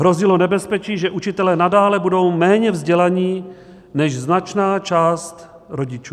Hrozilo nebezpečí, že učitelé nadále budou méně vzdělaní než značná část rodičů.